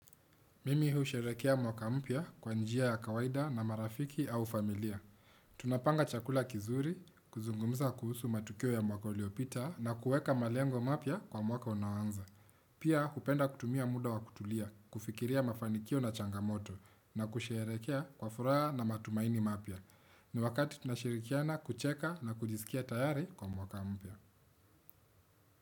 Mimi husherehekea mwaka mpya kwa njia ya kawaida na marafiki au familia. Tunapanga chakula kizuri, kuzungumza kuhusu matukio ya mwaka uliopita na kueka malengo mapya kwa mwaka unaoanza. Pia hupenda kutumia muda wa kutulia, kufikiria mafanikio na changamoto na kusherehekea kwa furaha na matumaini mapya. Ni wakati tunashirikiana kucheka na kujisikia tayari kwa mwaka mpya.